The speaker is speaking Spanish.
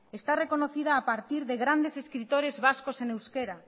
está reconocida a partir de grandes escritores vascos en euskera